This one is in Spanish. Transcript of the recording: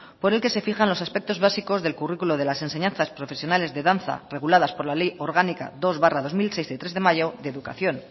por el que se fijan los aspectos básicos del currículo de las enseñanzas profesionales de danza reguladas por la ley orgánica dos barra dos mil seis del tres de mayo de educación